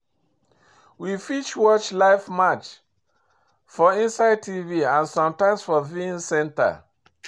We fit watch life match for inside Tv and sometimes for viewing center